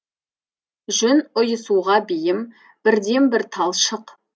жүн ұйысуға бейім бірден бір талшық